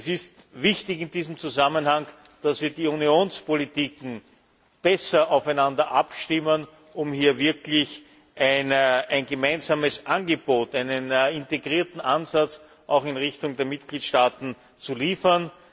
Es ist in diesem Zusammenhang wichtig, dass wir die Unionspolitiken besser aufeinander abstimmen, um hier wirklich ein gemeinsames Angebot, einen integrierten Ansatz auch in Richtung der Mitgliedstaaten zu liefern.